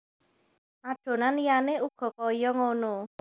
Adonan liyane uga kaya ngono